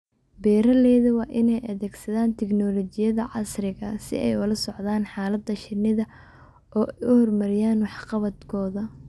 Beeralayda waa inay adeegsadaan tignoolajiyada casriga ah si ay ula socdaan xaalada shinnida oo ay horumariyaan waxqabadkooda.